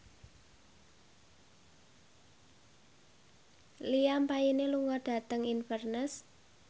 Liam Payne lunga dhateng Inverness